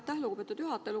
Aitäh, lugupeetud juhataja!